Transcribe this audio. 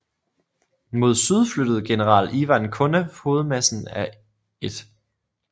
Mod syd flyttede general Ivan Konev hovedmassen af 1